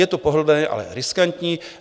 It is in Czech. Je to pohodlné, ale riskantní.